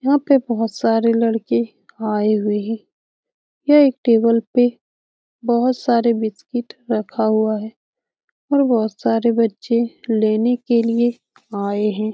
यहाँ पे बहुत सारे लड़के आए हुए हैं यहाँ एक टेबल पे बहुत सारे बिस्कुट रखा हुआ हैं और बहुत सारे बच्चे लेने के लिए आए हैं ।